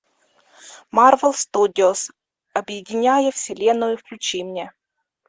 марвел студиос объединяя вселенную включи мне